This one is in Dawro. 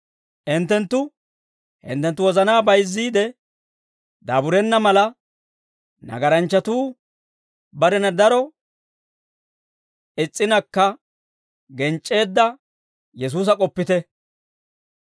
Hinttenttu hinttenttu wozanaa bayizziide daaburenna mala, nagaranchchatuu barena daro is's'inakka genc'c'eedda Yesuusa k'oppite.